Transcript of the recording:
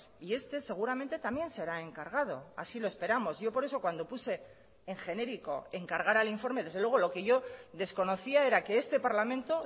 y este seguramente también será encargado así lo esperamos yo por eso cuando puse en genérico encargar el informe desde luego lo que yo desconocía era que este parlamento